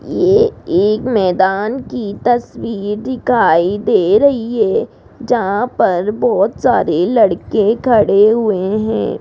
ये एक मैदान की तस्वीर दिखाई दे रही है जहां पर बहोत सारी लड़के खड़े हुए हैं।